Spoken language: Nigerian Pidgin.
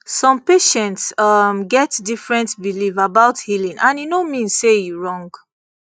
some patients um get different belief about healing and e no mean say e wrong